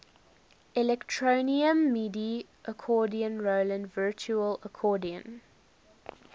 electronium midi accordion roland virtual accordion